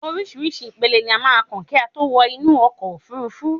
Orísìírísìí ìpele ni a máà ń kàn kí a tó lè wọ inú okò òfurufú